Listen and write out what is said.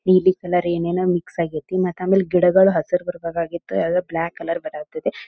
ನೀಲಿ ಕಲರ್ ಏನ್ ಏನೋ ಮಿಕ್ಸ್ ಆಗೇತಿ ಮತ್ತ ಆಮೇಲೆ ಗಿಡಗಳ ಹಸಿರ ಬರಬೇಕೆ ಆಗಿತ್ತು ಆದ್ರೆ ಬ್ಲಾಕ್ ಕಲರ್ ಬರಾಥೇತಿ